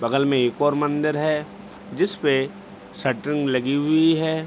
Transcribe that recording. बगल में एक और मंदिर है जिसपे शटरिंग लगी हुई है।